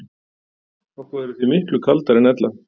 Okkur verður því miklu kaldara en ella.